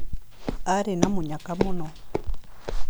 Aarĩ na mũnyaka mũno.